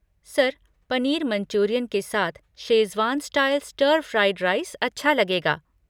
Sir, paneer manchurian के साथ schezwan style stir fried rice अच्छा लगेगा।